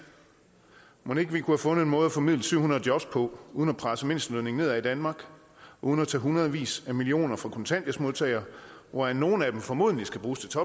mon ikke vi kunne have fundet en måde at formidle syv hundrede job på uden at presse mindstelønningerne nedad i danmark uden at tage hundredvis af millioner kroner fra kontanthjælpsmodtagere hvoraf nogle formodentlig skal bruges til